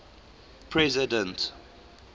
president